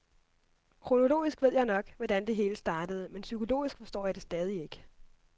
Kronologisk ved jeg nok, hvordan det hele startede, men psykologisk forstår jeg det stadig ikke.